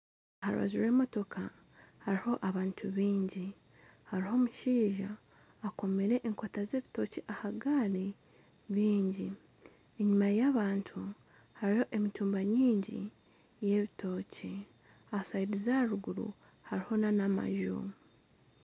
Aha rubaju rw'emotooka hariho abantu baingi hariho omushaija akomire enkota k'ebitookye ahagaari bingi enyuma y'abantu hariho emitumba mingi y'ebitookye aha rubaju aharuguru hariyo nana amaju